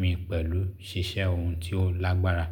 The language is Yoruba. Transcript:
mi pẹ̀lú ṣíṣẹ́ ohun tí ó lágbára.